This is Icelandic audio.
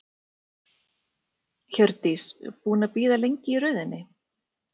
Hjördís: Búinn að bíða lengi í röðinni?